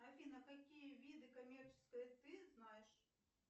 афина какие виды коммерческой ты знаешь